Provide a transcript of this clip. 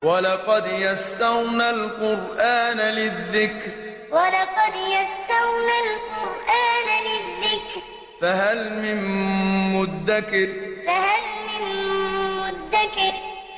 وَلَقَدْ يَسَّرْنَا الْقُرْآنَ لِلذِّكْرِ فَهَلْ مِن مُّدَّكِرٍ وَلَقَدْ يَسَّرْنَا الْقُرْآنَ لِلذِّكْرِ فَهَلْ مِن مُّدَّكِرٍ